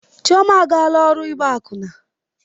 Chioma agaala ọrụ ịgba akwụna.